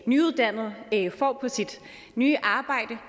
nyuddannet på sit nye arbejde